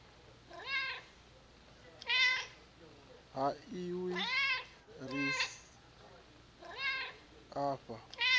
ha izwi zwire a fha